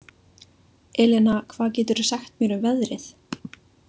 Elena, hvað geturðu sagt mér um veðrið?